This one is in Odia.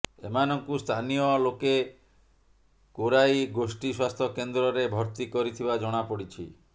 ଏମାନଙ୍କୁ ସ୍ଥାନୀୟ ଲୋକେ କୋରାଇ ଗୋଷ୍ଟି ସ୍ୱାସ୍ଥ୍ୟ କେନ୍ଦ୍ରରେ ଭର୍ତ୍ତି କରିଥିବା ଜଣା ପଡିଛି